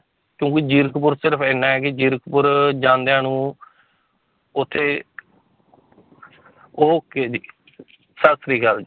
ਕਿਉਂਕਿ ਜੀਰਖਪੁਰ ਸਿਰਫ਼ ਇੰਨਾ ਹੈ ਕਿ ਜੀਰਖਪੁਰ ਜਾਂਦਿਆਂ ਨੂੰ ਉੱਥੇ okay ਜੀ ਸਤਿ ਸ੍ਰੀ ਅਕਾਲ